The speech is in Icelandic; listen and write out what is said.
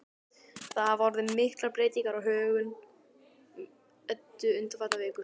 Það hafa orðið miklar breytingar á högum Eddu undanfarnar vikur.